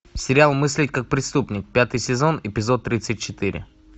сериал мыслить как преступник пятый сезон эпизод тридцать четыре